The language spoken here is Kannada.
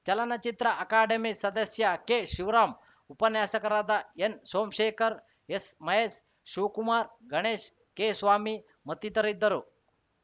ಚಲನಚಿತ್ರ ಅಕಾಡೆಮಿ ಸದಸ್ಯ ಕೆಶಿವರಾಮ್‌ ಉಪನ್ಯಾಸಕರಾದ ಎನ್‌ಸೋಮಶೇಖರ್‌ ಎಸ್‌ಮಹೇಶ್‌ ಶಿವಕುಮಾರ್‌ ಗಣೇಶ್‌ ಕೆ ಸ್ವಾಮಿ ಮತ್ತಿತರಿದ್ದರು